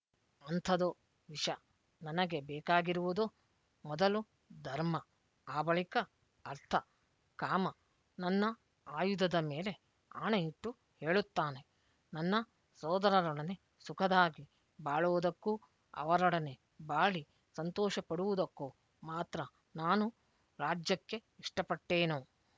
ಅಂಥದು ವಿಷ ನನಗೆ ಬೇಕಾಗಿರುವುದು ಮೊದಲು ಧರ್ಮ ಆ ಬಳಿಕ ಅರ್ಥ ಕಾಮ ನನ್ನ ಆಯುಧದ ಮೇಲೆ ಆಣೆಯಿಟ್ಟು ಹೇಳುತ್ತಾನೆ ನನ್ನ ಸೋದರರೊಡನೆ ಸುಖದಾಗಿ ಬಾಳುವುದಕ್ಕೂ ಅವರೊಡನೆ ಬಾಳಿ ಸಂತೋಷಪಡುವುದಕ್ಕೂ ಮಾತ್ರ ನಾನು ರಾಜ್ಯಕ್ಕೆ ಇಷ್ಟಪಟ್ಟೇನು